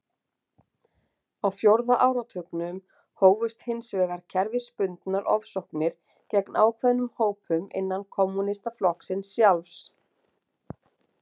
Á fjórða áratugnum hófust hins vegar kerfisbundnar ofsóknir gegn ákveðnum hópum innan kommúnistaflokksins sjálfs.